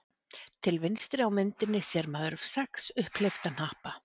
Til vinstri á myndinni sér maður sex upphleypta hnappa.